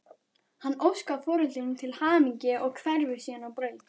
Hann óskar foreldrunum til hamingju og hverfur síðan á braut.